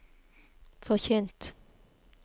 forkynt